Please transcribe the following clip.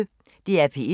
DR P1